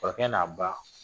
Kɔrɔkɛ n'a ba